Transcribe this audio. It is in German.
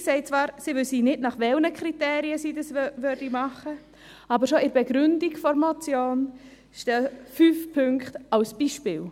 Die Regierung sagt zwar, sie wisse nicht, nach welchen Kriterien sie das tue, aber schon in der Begründung der Motion stehen fünf Punkte als Beispiele.